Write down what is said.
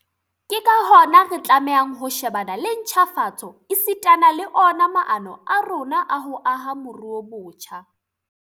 Ke ka hona re tlamehang ho shebana le ntjhafatso esitana le ona maano a rona a ho aha moruo botjha.